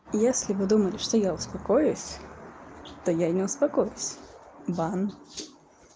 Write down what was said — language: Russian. если вы думали что я успокоюсь то я не успокоюсь бан